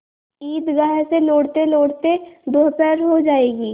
ईदगाह से लौटतेलौटते दोपहर हो जाएगी